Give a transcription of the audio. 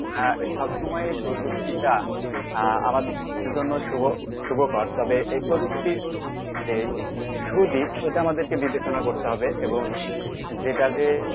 আহ সবসময়ই প্রযুক্তিটা আহ আমাদের জন্য শুভকর তবে এই প্রযুক্তি যে সুদিক সেটা আমাদেরকে বিবেচনা করতে হবে এবং যেটা